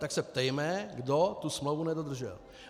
Tak se ptejme, kdo tu smlouvu nedodržel.